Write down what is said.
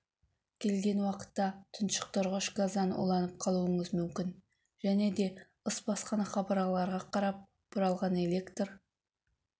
келген уақытта тұншықтырғыш газдан уланып қалуыңыз мүмкін және де ыс басқан қабырғаларға қарап бұралған электр